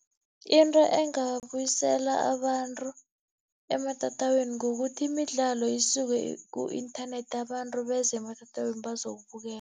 Into engabuyisela abantu ematatawini, kukuthi imidlalo isuke ku-inthanethi, abantu beze ematatawini bazokubukela.